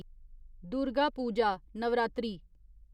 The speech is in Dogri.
दुर्गा पूजा नवरात्रि